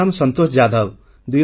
ମୋ ନାମ ସନ୍ତୋଷ ଯାଦବ